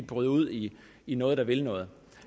bryde ud i i noget der vil noget